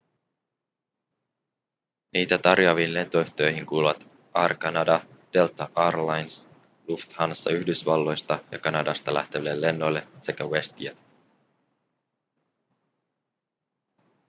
niitä tarjoaviin lentoyhtiöihin kuuluvat air canada delta air lines lufthansa yhdysvalloista ja kanadasta lähteville lennoille sekä westjet